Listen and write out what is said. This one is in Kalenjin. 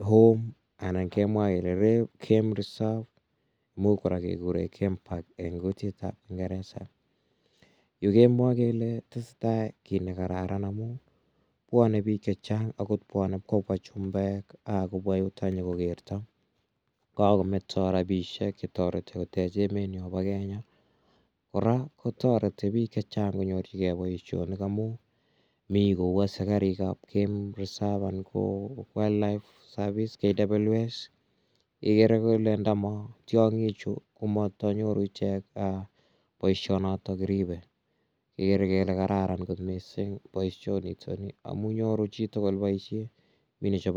home anan kemwa kele game reserve. Imuch kora kekure game park eng' kutit ap kingeresa. Yu kemwae kele tese tai kiit nekararan amun pwane piik che chang' agot pwane ip kopwa chumbek akopwa yutok nyu ko kerta ko kakometa rapishek che tareti kotech emetnyo pa Kenya. Kora ko tareti pik che chang' konyorchigei poishonik amun mi kowase karik ap game reserve anan ko wildlife service(KWS) igere kole ndama tiang'ichu ko tama nyoru ichek poishet ne kiripe. Ikere kele kararan missing' poishonitani amun nyoru chi tugul poishet. Mi nechope amitwogik.